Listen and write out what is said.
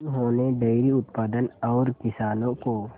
उन्होंने डेयरी उत्पादन और किसानों को